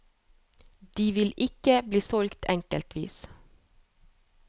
De vil ikke bli solgt enkeltvis.